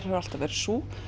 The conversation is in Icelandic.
hefur alltaf verið sú